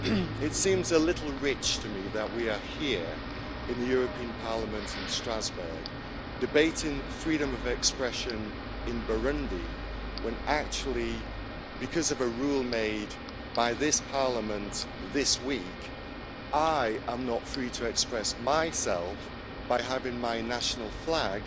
Madam President, it seems a little rich to me that we are here, in the European Parliament in Strasbourg, debating freedom of expression in Burundi when actually, because of a rule made by this Parliament this week, I am not free to express myself by having my national flag